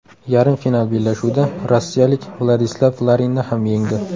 Yarim final bellashuvida rossiyalik Vladislav Larinni ham yengdi.